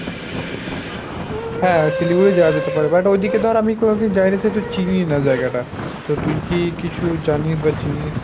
হাঁ, শিলিগুড়ি যাওয়া যেতে পারে but ঐদিকে তো আর আমি কোনোদিন যাইনি সেহেতু চিনিই না জায়গাটা। তো তুই কি কিছু জানিস বা চিনিস?